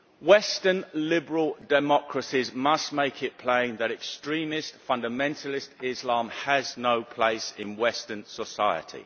Western liberal democracies must make it plain that extremist, fundamentalist Islam has no place in western society.